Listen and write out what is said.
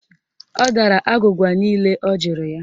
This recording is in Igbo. Ọ dara agwụgwa niile ọ jụrụ ya